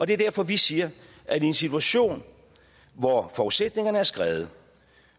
det er derfor vi siger at i en situation hvor forudsætningerne er skredet